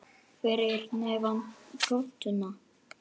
Fyrir neðan götuna.